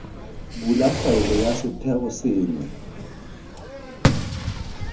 bula faele ya setheo sengwe